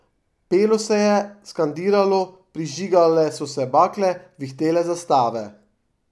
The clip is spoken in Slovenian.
Pelo se je, skandiralo, prižigale so se bakle, vihtele zastave.